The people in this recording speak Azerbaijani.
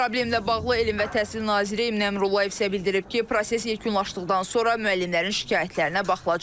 Problemlə bağlı Elm və Təhsil naziri Emin Əmrullayev isə bildirib ki, proses yekunlaşdıqdan sonra müəllimlərin şikayətlərinə baxılacaq.